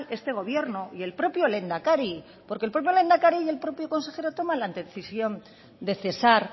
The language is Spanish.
este gobierno y el propio lehendakari porque el propio lehendakari y el propio consejero toman la decisión de cesar